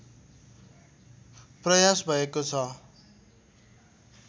प्रयास भएको छ